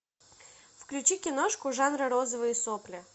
включи киношку жанра розовые сопли